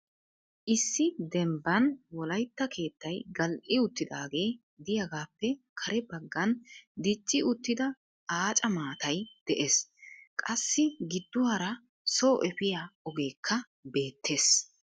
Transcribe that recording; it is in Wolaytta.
Issi dembban wolaytta keettay gal"i uttidaagee de'iyaagappe kare baggan dicci uttida aaca maatay de'ees. Qassi gidduwaara soo efiyaa ogekka beettees.